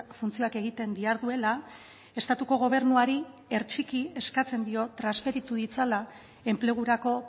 funtzioak egiten diharduela estatuko gobernuari ertxiki eskatzen dio transferitu ditzala enplegurako